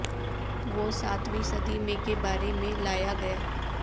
وہ ساتویں صدی میں کے بارے میں لایا گیا